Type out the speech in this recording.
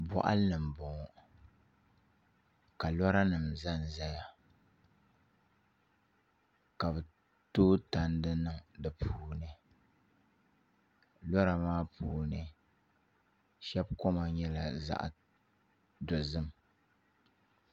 Boɣali ni n boŋo ka lora nim ʒɛnʒɛya ka bi tooi tandi niŋ di puuni lora maa puuni shab koma nyɛla zaɣ dozim